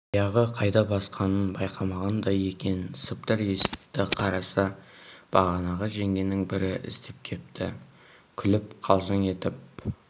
аяғы қайда басқанын байқамағандай екен сыбдыр есітті қараса бағанағы жеңгенің бірі іздеп кепті күліп қалжың етіп